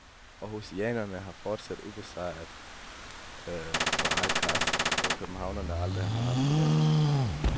Århusianerne er fortsat ubesejret på eget græs, hvor københavnerne aldrig har haft det let.